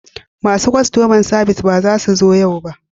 Masu kastoma sabis ba za su zo yau ba